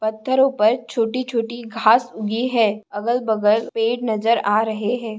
पत्थेरों पर छोटी छोटी घास उगी है अगल बगल पेड़ नजर आ रहे है।